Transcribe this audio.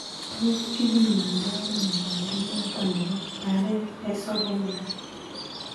Tos kibimo ndo ano mnyondo noton nebo Barret esophagus ?